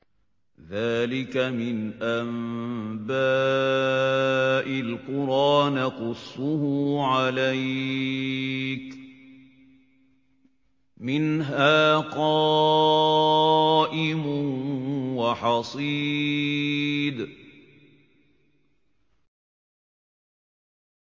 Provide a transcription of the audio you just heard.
ذَٰلِكَ مِنْ أَنبَاءِ الْقُرَىٰ نَقُصُّهُ عَلَيْكَ ۖ مِنْهَا قَائِمٌ وَحَصِيدٌ